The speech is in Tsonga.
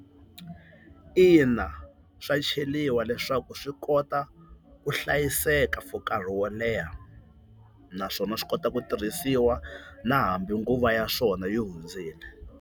Ina, swa cheliwa leswaku swi kota ku hlayiseka for nkarhi wo leha, naswona swi kota ku tirhisiwa na hambi nguva ya swona yi hundzile.